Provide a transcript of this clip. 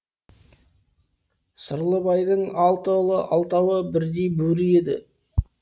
сырлыбайдың алты ұлы алтауы бірдей бөрі еді